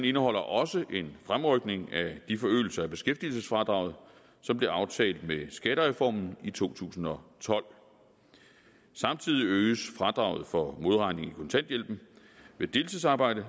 indeholder også en fremrykning af de forøgelser af beskæftigelsesfradraget som blev aftalt med skattereformen i to tusind og tolv samtidig øges fradraget for modregning i kontanthjælpen ved deltidsarbejde